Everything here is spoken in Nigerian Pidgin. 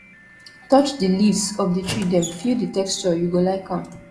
touch di leaves of di tree dem feel di texture you go like am